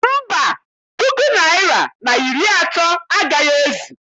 Mba, ọ puku naịra na iri atọ agaghị ezu.